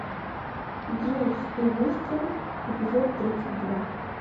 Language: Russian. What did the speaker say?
дживс и вустер эпизод тридцать два